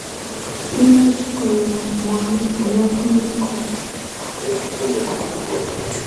Imuch kotoi nwonik alak kokeny kou bekunetab kelyek ak kimnotet